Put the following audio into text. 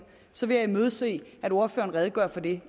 så vil jeg imødese at ordføreren redegør for det